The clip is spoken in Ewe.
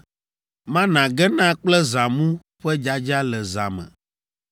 Mana gena kple zãmu ƒe dzadza le zã me.